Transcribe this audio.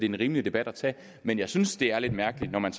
en rimelig debat at tage men jeg synes det er lidt mærkeligt at man